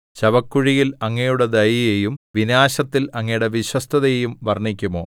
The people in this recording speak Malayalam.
ശവക്കുഴിയിൽ അങ്ങയുടെ ദയയെയും വിനാശത്തിൽ അങ്ങയുടെ വിശ്വസ്തതയെയും വർണ്ണിക്കുമോ